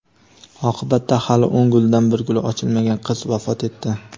Oqibatda hali o‘n gulidan bir guli ochilmagan qiz vafot etdi.